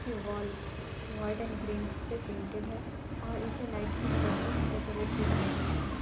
की wall white and green से painted है और इसे लाइट की मदद से डेकोरेट भी किया गया हैं।